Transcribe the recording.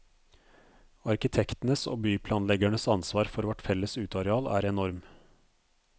Arkitektenes og byplanleggernes ansvar for vårt felles uteareal er enorm.